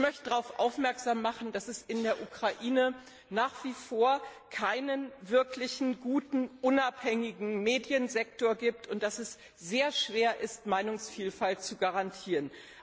Ich möchte darauf aufmerksam machen, dass es in der Ukraine nach wie vor keinen wirklich guten und unabhängigen Mediensektor gibt, und dass es sehr schwer ist, Meinungsvielfalt zu garantieren.